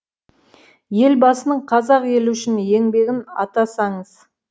елбасының қазақ елі үшін еңбегін атасаңыз